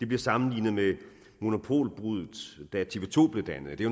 bliver sammenlignet med monopolbruddet da tv to blev dannet det